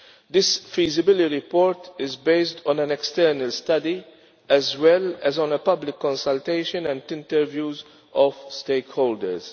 This feasibility report is based on an external study as well as on a public consultation and interviews of stakeholders.